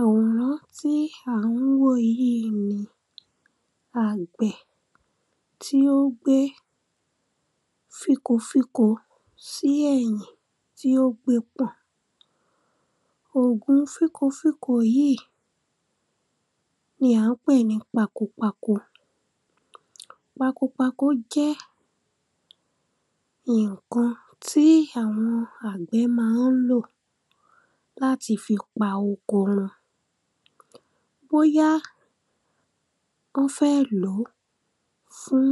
Àwòrán tí à ń wò yíì ni àgbẹ̀ tí ó gbé fínko fínko sí ẹ̀yìn tí ó gbe pọ̀n. Òògun fínko fínko yìí ni à ń pè ní pakopako pakopako jẹ́ nǹkan tí àwọn àgbẹ̀ má ń lò láti fi pa oko wọn bóyá ó fẹ́ lòó fún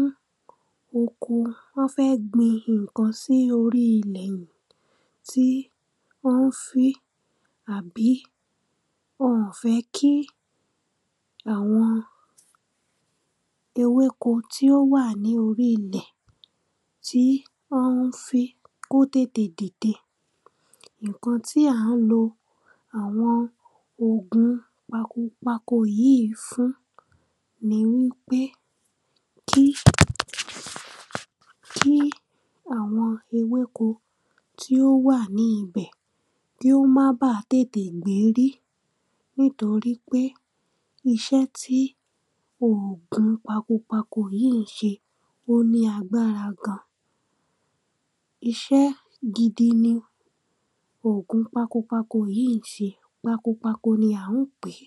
oko wọ́n fẹ́ gbin nǹkan sí orí ilẹ̀ rẹ̀ tí ó ń fín àbí wọn ò fẹ́ kí àwọn ewéko tí ó wà ní orí ilẹ̀ tí wọ́n ń fín kó tètè dìde. Nǹkan tí à ń lo àwọn òògun pakopako yíì fún ni wípé kí kí àwọn ewéko tí ó wà ní ibẹ̀ kí wọ́n má bá tètè gbérí nítorípé iṣẹ́ tí òògun pakopako yíì ń ṣe ó ní agbára gan. Iṣẹ́ gidi ni òògun pakopako yíì ń ṣe pakopako ni à ń pè é.